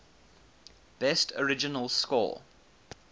best original score